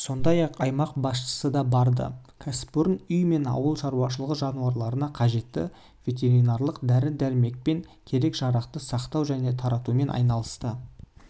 сондай-ақ аймақ басшысы да барды кәсіпорын үй және ауыл шаруашылығы жануарларына қажетті ветеринарлық дәрі-дәрмек пен керек-жарақты сақтау және таратумен айналысады